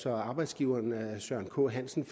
at arbejdsgiveren søren k hansen